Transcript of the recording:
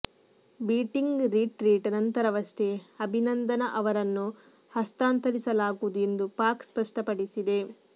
beating retreat ನಂತರವಷ್ಟೇ ಆಭಿನಂದನ್ ಅವರನ್ನು ಹಸ್ತಾಂತರಿಸಲಾಗುವುದು ಎಂದು ಪಾಕ್ ಸ್ಪಷ್ಟಪಡಿಸಿದೆ